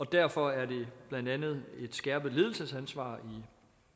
derfor er der blandt andet et skærpet ledelsesansvar